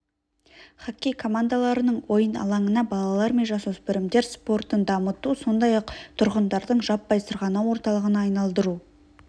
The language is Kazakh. жоспарлануда кешен концерттер көпшілік мәдени іс-шаралар өткізуге лайықталып қазіргі заманғы жарық және дыбыс құрылғыларымен жабдықталған